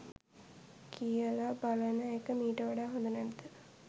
කියලා බලන එක මීට වඩා හොද නැද්ද